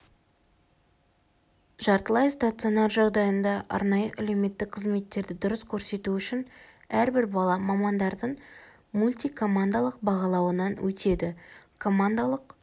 жартылай стационар жағдайында арнайы әлеуметтік қызметтерді дұрыс көрсету үшін әрбір бала мамандардың мультикомандалық бағалауынан өтеді командалық